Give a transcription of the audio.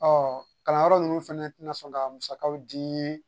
Ɔ kalanyɔrɔ ninnu fana tɛ na sɔn ka musakaw dii